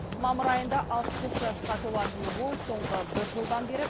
мамыр айында алпыс үш жасқа толатын ол соңғы бір жылдан бері